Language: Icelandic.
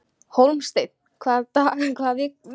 Hólmsteinn, hvaða vikudagur er í dag?